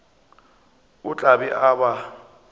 o tla be a ba